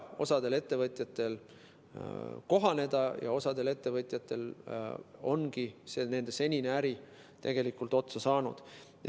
Osal ettevõtjatel ongi vaja kohaneda ja osal ettevõtjatel ongi nende senine äri tegelikult otsa saanud.